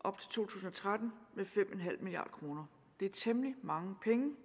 op til to tusind og tretten med fem milliard kroner det er temmelig mange penge